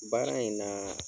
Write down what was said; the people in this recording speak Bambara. Baara in na